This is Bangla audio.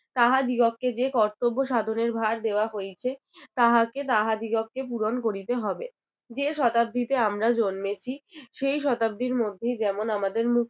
তাহাদিগকে যে কর্তব্য সাধনের ভার দেওয়া হইয়েছে। তাহাকে তাহাদিগকে পূরণ করিতে হবে। যে শতাব্দীতে আমরা জন্মেছি সেই শতাব্দীর মধ্যেই যেমন আমাদের মুক্তি